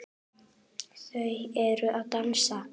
Þau eru að dansa